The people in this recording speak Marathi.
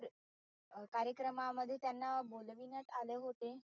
अह कार्यक्रमामध्ये त्यांना बोलविण्यात आले होते.